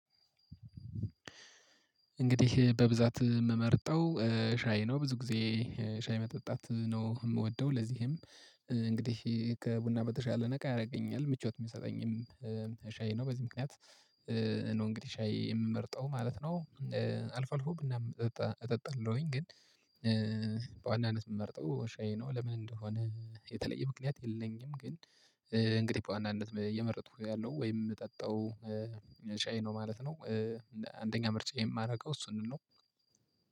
እንግዲህ በብዛት የምመርጠው ሻይ ነው ብዙ ጊዜ ሻይ መጠጣት ነው የምወደው ለዚህም እንግዲህ ከቡና በተሻለ ነቃ ያደርገኛል ምቾት የሚሰጠኝም ሻይ ነው በዚህ ምክንያት ነው እንግዲህ ሻይ የምመርጠው ማለት ነው። አልፎ አልፎ ቡናም እጠጣለሁኝ ግን። በዋናነት የምመርጠው ሻይ ነው ለምን እንደሆነ የተለየ ምክንያት የለኝም ግን እንግዲህ በዋናነት እየመረጥኩ ያለውት ወይም የምጠጣው ሻይ ነው ማለት ነው። አንደኛ ምርጫ የማደርገው እሱንም ነው።